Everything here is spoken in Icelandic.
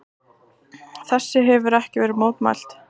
Þessu hefir ekki verið mótmælt.